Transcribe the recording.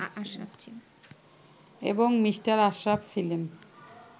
এবং মি. আশরাফ ছিলেন